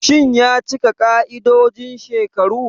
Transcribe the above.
Shin ya cika ƙa'idojin shekaru?